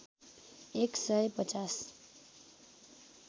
एक सय पचाँस